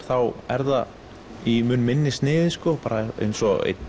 þá er það í mun minni sniði bara eins og einn